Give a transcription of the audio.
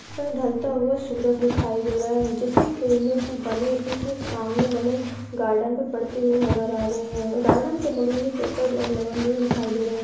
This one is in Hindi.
ऊपर ढलता सूरज दिखाई दे रहा है जिसकी किरणे इस सामने बने गार्डन पर पड़ती हुई नजर आ रही है गार्डन के बगल में पेपर लगा हुआ दिखाई दे रहे है।